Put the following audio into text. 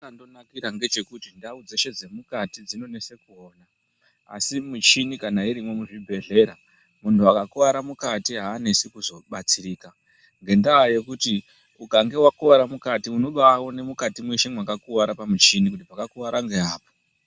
Chachaka ndonakira ngechekuti ndau dzeshe dzemukati dzinonesa kuona asi muchini kana irimwo ,muzvibhehlera muntu akakuwara mukati anesi kuzobatsirika ngenda yekuti ukanga wakuwara mukati unobaone mukati mweshe pakakuwara pamuchini kuti pakakuwara ngeapa.